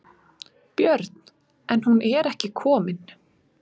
Björn: En hún er ekki komin?